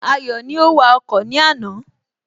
Ayọ̀ ni ó wa ọkọ̀ ní àná